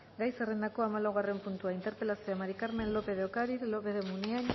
gai zerrendako hamalaugarren puntua interpelazioa maría del carmen lópez de ocariz lópez de munain